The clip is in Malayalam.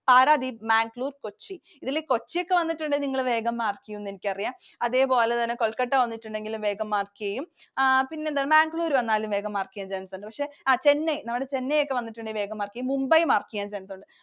Paradip, Mangalore, Kochi. ഇതിൽ Kochi ഒക്കെ വന്നിട്ടുണ്ടെങ്കിൽ നിങ്ങൾ വേഗം mark ചെയ്യുമെന്ന് എനിക്കറിയാം. അതേപോലെതന്നെ Kolkata വന്നിട്ടുണ്ടെങ്കിലും വേഗം mark ചെയ്യും, പിന്നെന്താണ് Mangalore വന്നാലും വേഗം mark ചെയ്യാൻ chance ഉണ്ട്. പക്ഷെ, Chennai, നമ്മുടെ Chennai ഒക്കെ വന്നിട്ടുണ്ടെങ്കിൽ വേഗം mark ചെയ്യും, Mumbai mark ചെയ്യാൻ chance ഉണ്ട്.